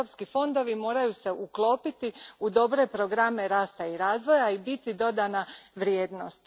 Europski fondovi moraju se uklopiti u dobre programe rasta i razvoja i biti dodana vrijednost.